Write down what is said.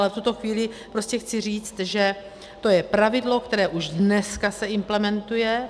Ale v tuto chvíli chci říct, že to je pravidlo, které už dneska se implementuje.